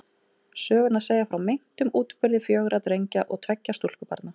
Sögurnar segja frá meintum útburði fjögurra drengja og tveggja stúlkubarna.